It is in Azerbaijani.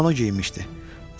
Ağ kimono geyinmişdi.